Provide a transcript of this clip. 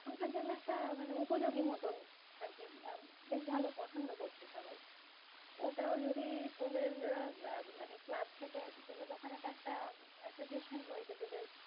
এখনকার জন্য একটা মানে উপযোগী মতন আরকি। আর বেশ ভালো পছন্দ করছে সবাই। ওটাও যদি তোদের মানে ক্লাব থেকে তোদের ওখানে তো একটা association রয়েছে তোদের।